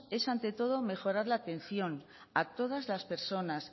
es ante todo mejorar la atención a todas las personas